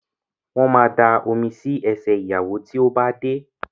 Wọ́n ma da omi sí ẹsẹ̀ ìyàwó tí ó bá dé